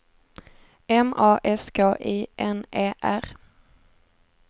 M A S K I N E R